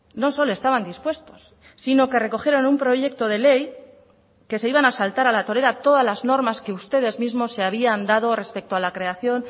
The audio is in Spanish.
no solo estaban dispuestos sino que recogieron un proyecto de ley que se iban a saltar a la torera todas las normas que ustedes mismos se habían dado respecto a la creación